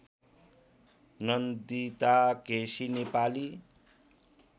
Nandita KC Nepali